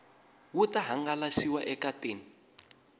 wu ta hangalasiwa eka tin